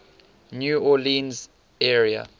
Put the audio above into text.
new orleans area